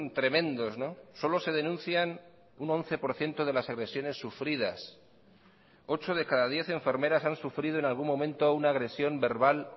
tremendos solo se denuncian un once por ciento de las agresiones sufridas ocho de cada diez enfermeras han sufrido en algún momento una agresión verbal